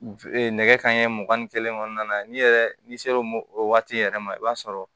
nɛgɛ kanɲɛ mugan ni kelen kɔnɔna na n'i yɛrɛ n'i sera o waati yɛrɛ ma i b'a sɔrɔ